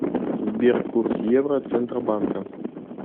сбер курс евро центробанка